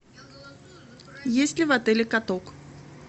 есть ли в отеле каток